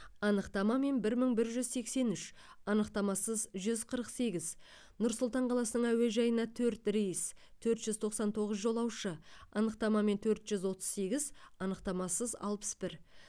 анықтамамен бір мың бір жүз сексен үш анықтамасыз жүз қырық сегіз нұр сұлтан қаласының әуежайына төрт рейс төрт жүз тоқсан тоғыз жолаушы анықтамамен төрт жүз отыз сегіз анықтамасыз алпыс бір